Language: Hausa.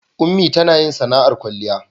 ummi tanayin sana'ar kwalliya